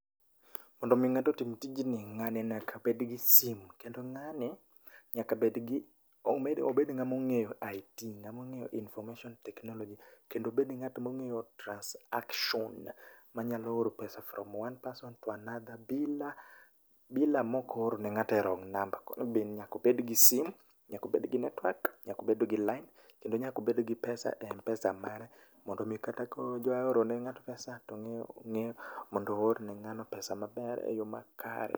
Mondo mi ng'ato otim tijni ng'ani nyaka bed gi simu kendo ng'ani obed ng'ama ongeyo IT, obed ng'atma ong'eyo information technology. kendo obed ng'atma ongeyo transaction monyalo oro pesa from one person to the other bila maok ooro ne ng'ato e wrong number. Koro nyaka obed gi simu, nyaka obed gi network, nyaka obed gi line kendo nyaka obed gi pesa e Mpesa mare mondo mi kata ka odwa oro ne ngato pesa tongeyo mondo oorne ngano pesa maber e yo makare